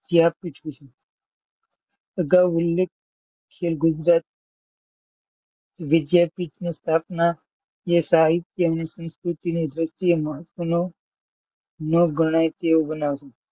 વિદ્યાપીઠ વિશે અગાઉ ઉલ્લેખ છે ગુજરાત વિદ્યાપીઠની સ્થાપના અને સાહિત્ય અને સંસ્કૃતિનું દૃષ્ટિએ મહત્વનો ગણાય તેવો બનાવો છે.